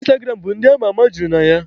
Ịnstagram bụ ndị ama ama juru na ya.